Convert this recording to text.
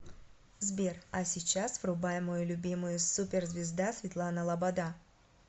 сбер а сейчас врубай мою любимую супер звезда светлана лобода